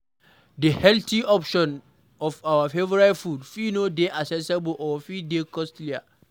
The healthy options of our favourite food fit no dey accessible or fit dey costlier